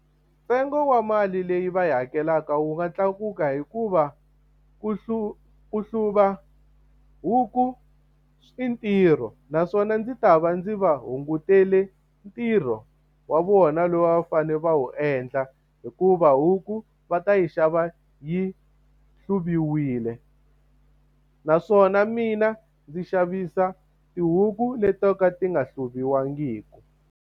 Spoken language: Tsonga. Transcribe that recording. Ntsengo wa mali leyi va yi hakelaka wu nga tlakuka hikuva ku ku hluva huku i ntirho. Naswona ndzi ta va ndzi va hunguterile ntirho wa vona lowu va fanele va wu endla hikuva huku va ta yi xava yi hluviwile. Naswona mina ndzi xavisa tihuku leti to ka ti nga hluviwangiki.